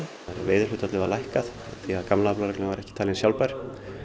veiðihlutfallið var lækkað því að gamla reglan var ekki talin sjálfbær